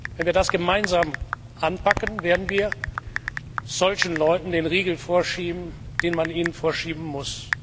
Wenn wir das gemeinsam anpacken, werden wir solchen Leuten den Riegel vorschieben, den man ihnen vorschieben muss.